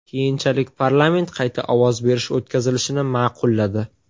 Keyinchalik parlament qayta ovoz berish o‘tkazilishini ma’qulladi.